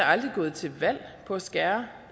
aldrig gået til valg på at skære